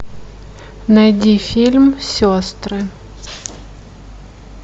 найди фильм сестры